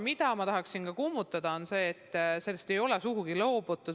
Ma tahaksin kummutada väite, et rahvusvahelistumisest on loobutud.